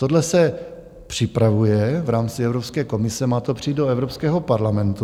Tohle se připravuje v rámci Evropské komise, má to přijít do Evropského parlamentu.